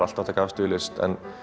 alltaf að taka afstöðu í list